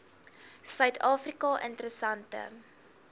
suid afrika interessante